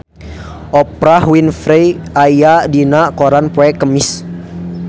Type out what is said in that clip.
Oprah Winfrey aya dina koran poe Kemis